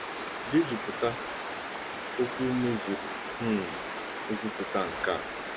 Dejupụta okwu mezuru um nkwupụta nkè a: